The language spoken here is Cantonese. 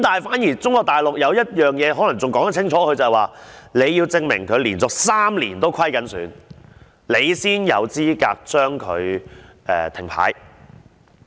反而中國大陸對此事可能說得更清楚，就是當局要證明這些公司連續3年都是虧損，才可以將它停牌。